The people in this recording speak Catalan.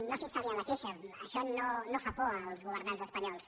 no s’instal·li en la queixa això no fa por als governants espanyols